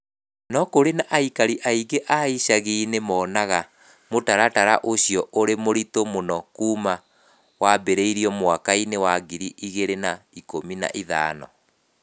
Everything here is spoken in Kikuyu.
No kũrĩ aikari aingĩ a icagi-inĩ monaga mũtaratara ũcio ũrĩ mũritũ mũno kuuma wambĩrĩrio mwaka-inĩ wa ngiri igĩrĩ na ikũmi na ithano.